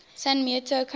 san mateo county